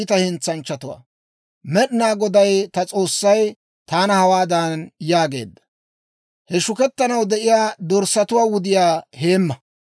Med'inaa Goday ta S'oossay taana hawaadan yaageedda; «He shukettanaw de'iyaa dorssatuwaa wudiyaa heemma.